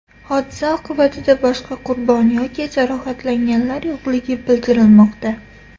Hodisa oqibatida boshqa qurbon yoki jarohatlanganlar yo‘qligi bildirilmoqda.